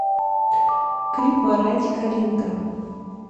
клип моранди калинка